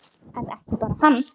En ekki bara hann.